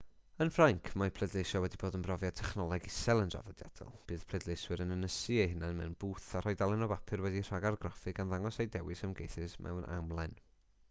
yn ffrainc mae pleidleisio wedi bod yn brofiad technoleg isel yn draddodiadol bydd pleidleiswyr yn ynysu eu hunain mewn bwth a rhoi dalen o bapur wedi'i rhagargraffu gan ddangos eu dewis ymgeisydd mewn amlen